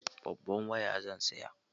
Babban waya zan saya.